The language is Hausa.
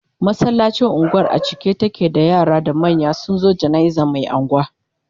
masallacin unguwar a cike take da yara da manya sunzo janaizan Mai unguwa